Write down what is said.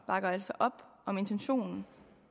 bakker altså op om intentionen